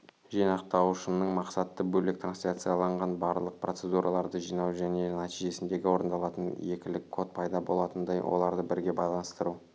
жинақтаушының мақсаты бөлек трансляциялаған барлық процедураларды жинау және нәтижесінде орындалатын екілік код пайда болатындай оларды бірге байланыстыру